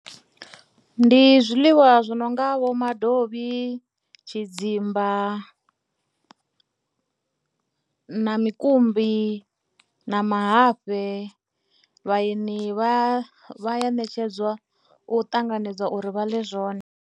Ndi zwiḽiwa zwi no nga vho madovhi, tshidzimba na mukumbi na mahafhe, vhaeni vha a ṋetshedzwa u ṱanganedza uri vha ḽe zwone.